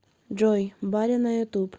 джой баря на ютуб